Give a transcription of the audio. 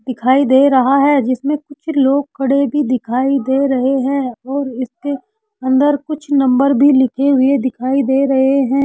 दिखाई दे रहा है जिसमें कुछ लोग खड़े भी दिखाई दे रहे हैं और इसके अंदर कुछ नंबर भी दिखाई दे रहे हैं।